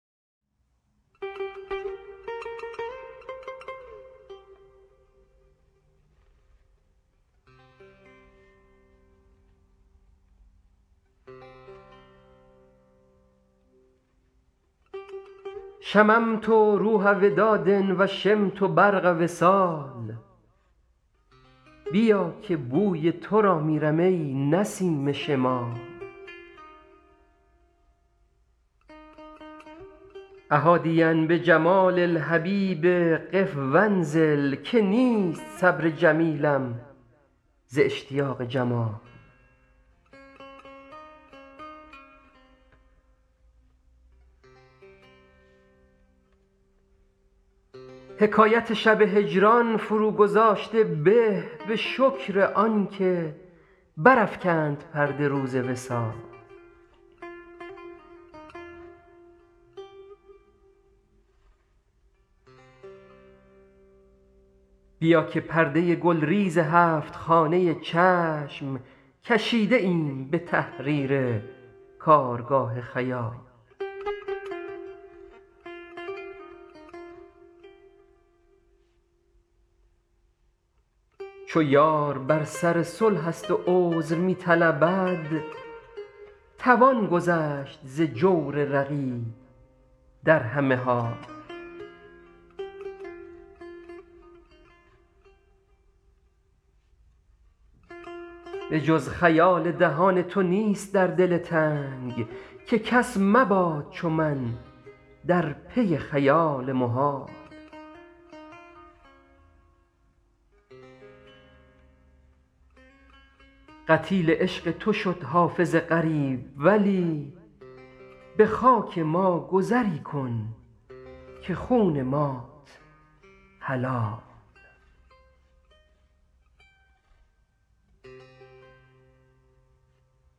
شممت روح وداد و شمت برق وصال بیا که بوی تو را میرم ای نسیم شمال أ حادیا بجمال الحبیب قف و انزل که نیست صبر جمیلم ز اشتیاق جمال حکایت شب هجران فروگذاشته به به شکر آن که برافکند پرده روز وصال بیا که پرده گلریز هفت خانه چشم کشیده ایم به تحریر کارگاه خیال چو یار بر سر صلح است و عذر می طلبد توان گذشت ز جور رقیب در همه حال به جز خیال دهان تو نیست در دل تنگ که کس مباد چو من در پی خیال محال قتیل عشق تو شد حافظ غریب ولی به خاک ما گذری کن که خون مات حلال